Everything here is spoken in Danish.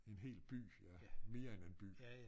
En hel by ja mere end en by